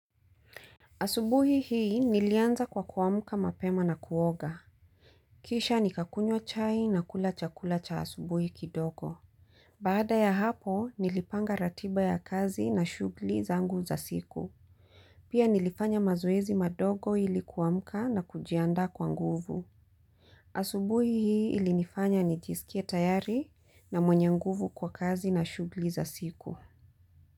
Asubuhi hii nilianza kwa kuamuka mapema na kuoga. Kisha nikakunywa chai na kula chakula cha asubuhi kidogo. Baada ya hapo nilipanga ratiba ya kazi na shughuli zangu za siku. Pia nilifanya mazoezi madogo ilikuamuka na kujianda kwa nguvu. Asubuhi hii ilinifanya nijisikie tayari na mwenye nguvu kwa kazi na shughuli za siku.